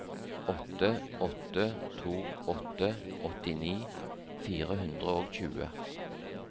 åtte åtte to åtte åttini fire hundre og tjue